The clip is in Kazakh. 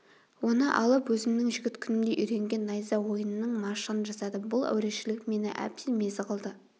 оны алып өзімнің жігіт күнімде үйренген найза ойынының машығын жасадым бұл әурешілік мені әбден мезі қылды